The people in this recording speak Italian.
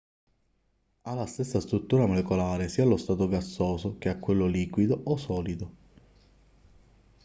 ha la stessa struttura molecolare sia allo stato gassoso che a quello liquido o solido